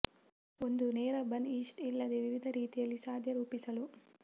ಒಂದು ನೇರ bun yeast ಇಲ್ಲದೆ ವಿವಿಧ ರೀತಿಯಲ್ಲಿ ಸಾಧ್ಯ ರೂಪಿಸಲು